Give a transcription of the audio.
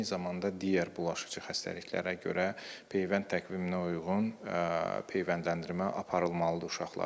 Eyni zamanda digər bulaşıcı xəstəliklərə görə peyvənd təqviminə uyğun peyvəndləndirmə aparılmalıdır uşaqlarda.